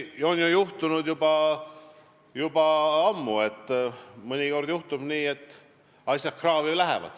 Seda on tõesti juhtunud ka juba ammu ja mõnikord juhtubki nii, et asi läheb kraavi.